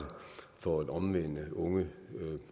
for at omvende unge